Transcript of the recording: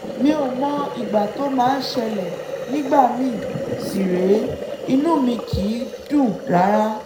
mi ò mọ ìgbà tó máa ṣẹlẹ̀ nígbà míì sì rèé inú mi kìí dùn rárá